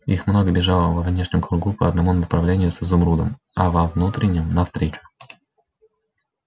их много бежало во внешнем кругу по одному направлению с изумрудом а во внутреннем навстречу